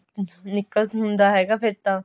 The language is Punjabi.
ਨਿਕਲ ਹੁੰਦਾ ਹੈਗਾ ਫੇਰ ਤਾਂ